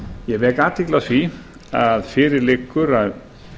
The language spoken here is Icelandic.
ég vek athygli á því að fyrir liggur að